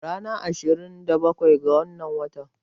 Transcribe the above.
Ranar ashirin da bakwai ga wannan watan